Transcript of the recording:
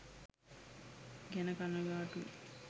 ගැන කනගාටුයි.